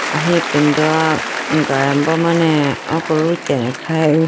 aho ipindo galimbo mane oko ruteyane khayiboo.